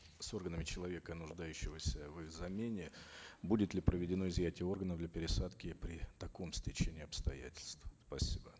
с органами человека нуждающегося в их замене будет ли проведено изъятие органов для пересадки при таком стечении обстоятельств сасибо